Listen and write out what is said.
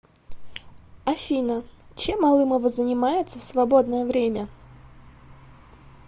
афина чем алымова занимается в свободное время